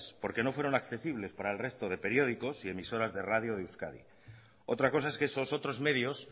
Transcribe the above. porque no fueron accesibles para el resto de periódicos y emisoras de radio de euskadi otra cosa es que esos otros medios